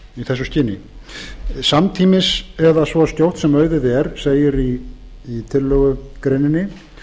þessu skyni samtímis eða svo skjótt sem auðið er segir í tillögugreininni